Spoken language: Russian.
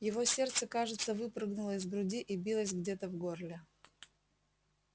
его сердце кажется выпрыгнуло из груди и билось где-то в горле